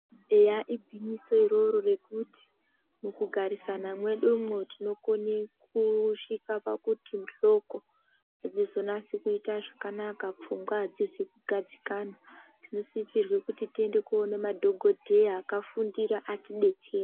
Eya igwinyiso iroro rekuti mukugarisana mwedumwo tinokone kusvika pakuti muhloko dzizonase kuita zvakanaka pfunga adzizi kugadzikana. Tinosisirwe kuti tiende koona madhokodheya akafundira atidetsere.